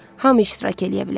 Hamı iştirak eləyə bilər.